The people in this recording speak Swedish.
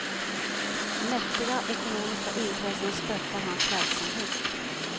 Mäktiga ekonomiska intressen stöttar hans verksamhet.